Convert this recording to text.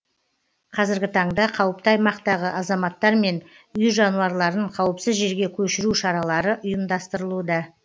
қазіргі таңда қауіпті аймақтағы азаматтар мен үй жануарларын қауіпсіз жерге көшіру шаралары ұйымдастырылуда